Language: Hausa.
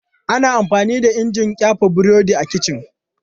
Ana amfani da injin ƙyafe burodi a kici.